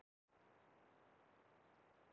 Gíraffi á pillunni